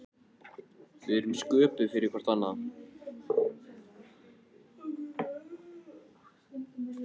Við erum sköpuð fyrir hvort annað.